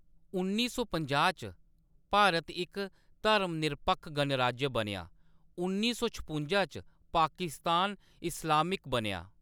उन्नी सौ पंजाह् च भारत इक धर्मनिरपक्ख गणराज्य बनेआ; उन्नी सौ छपुंजा च पाकिस्तान इस्लामिक बनेआ।